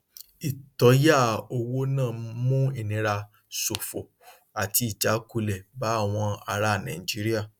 ìtóyà owó náà mú ìnira ṣòfò àti ìjákulẹ bá àwọn ará nàìjíríà